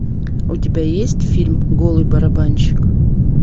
у тебя есть фильм голый барабанщик